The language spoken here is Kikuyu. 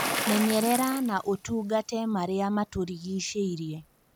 Menyerera na ũtungate marĩa matũrigicĩirie